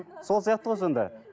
сол сияқты ғой сонда